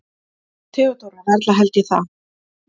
THEODÓRA: Varla held ég það.